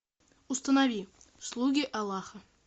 установи слуги аллаха